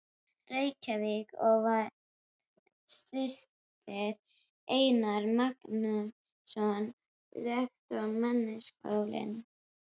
Reykjavík og var systir Einars Magnússonar, rektors Menntaskólans í